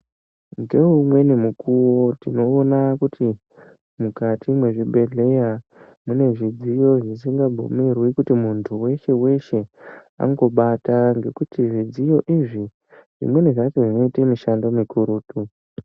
Ngeumweni mukuwo tinoona kuti mukati mezvibhedhlera mune zvidziyo zvisingabvumirwi kuti muntu weshe weshe angobata ngekuti zvidziyo izvi zvimweni zvacho zvinoita mishando mikurutu.